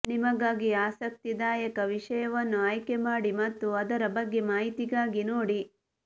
ನಿಮಗಾಗಿ ಆಸಕ್ತಿದಾಯಕ ವಿಷಯವನ್ನು ಆಯ್ಕೆಮಾಡಿ ಮತ್ತು ಅದರ ಬಗ್ಗೆ ಮಾಹಿತಿಗಾಗಿ ನೋಡಿ